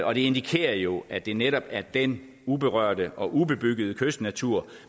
og det indikerer jo at det netop er den uberørte og ubebyggede kystnatur